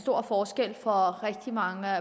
stor forskel for rigtig mange